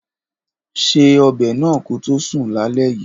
Ṣe ọbẹ̀ náà koto sùn lálẹ́ yìí